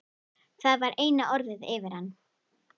Það var eina orðið yfir hann.